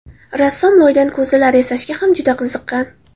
Rassom loydan ko‘zalar yasashga ham juda qiziqqan.